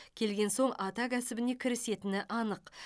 келген соң ата кәсібіне кірісетіні анық